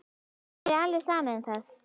Mér er alveg sama um það.